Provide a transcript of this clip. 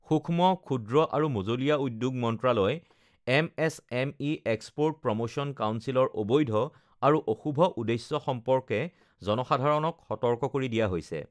সূক্ষ্ম, ক্ষুদ্ৰ আৰু মঁজলীয়া উদ্যোগ মন্ত্ৰালয়, এমএছএমই এক্সপোৰ্ট প্ৰমোশ্যন কাউন্সিলৰ অবৈধ আৰু অশুভ উদ্দেশ্য সম্পৰ্কে জনসাধাৰণক সতৰ্ক কৰি দিয়া হৈছে